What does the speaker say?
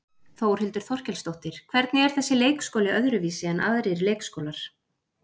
Þórhildur Þorkelsdóttir: Hvernig er þessi leikskóli öðruvísi en aðrir leikskólar?